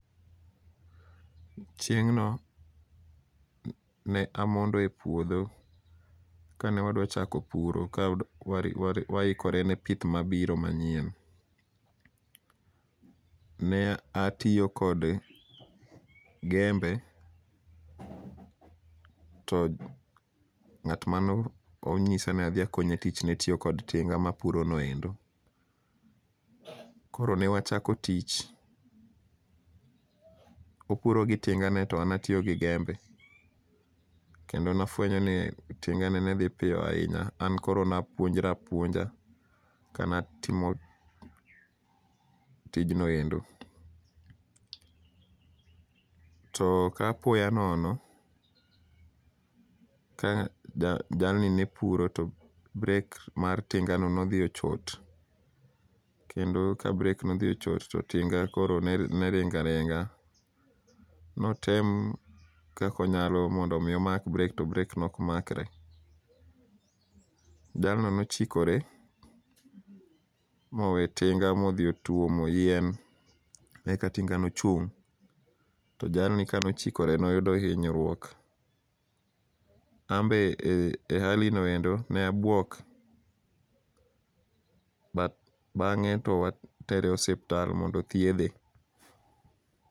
Chieng'no ne amondo e puodho kane wadwa chako puro ka waikore ne pith mabiro manyien. Ne atiyo kod gembe to ng'at mane onyisa ni adhi akonye tich netiyo kod tinga mapuro noendo. Koro newachako tich, opuro gi tingane to an atiyo gi gembe, kendo nafuenyo ni tingane dhi piyo ahinya. An koro napuonjra apuonja kanatimo tijnoendo. To koapoya nono, ka jalni nepuro to brek mar tingano nodhi ochot, kendo ka brek ne odhi ochot to tinga koro neringa ringa. Notem kako onyalo mondo omi omak brek to breko nok makre. Jalno nochikore, mowe tinga modhi otuomo yien, eka tinga nochung'. To jalno kanochikore noyudo hinyruok. Anbe e hali noendo ne abuok, but bang'e to watere osiptal mondo thiedhe.